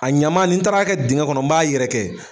A ɲamani ni taara kɛ dingɛ kɔnɔ n b'a yɛrɛ kɛ.